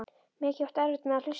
Mikið áttu erfitt með að hlusta.